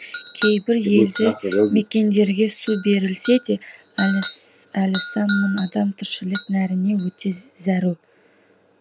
кейбір елді мекендерге су берілсе де әлі сан мың адам тіршілік нәріне өте зәру